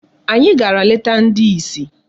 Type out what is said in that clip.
Anyị gara leta ndị isi